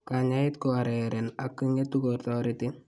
Kanyaayet ko areeren ak ngetu ko toreti.